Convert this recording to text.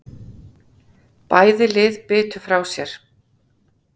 Bæði lið bitu frá sér